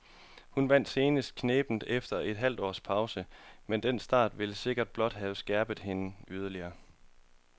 Hun vandt senest knebent efter et halvt års pause, men den start vil sikkert blot have skærpet hende yderligere.